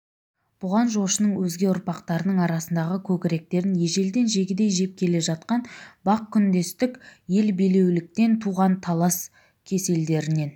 бұған жошының өзге ұрпақтарының арасындағы көкіректерін ежелден жегідей жеп келе жатқан бақ күндестік ел билеуліктен туған талас кеселдерінен